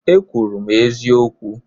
E kwuru m eziokwu